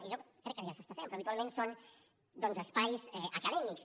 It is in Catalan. i jo crec que ja s’està fent però habitualment són doncs espais acadèmics